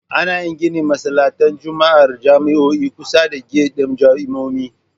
Ana yin ginin masallatan Juma'ar jami'o'i a kusa da gyat ɗin jami'o'i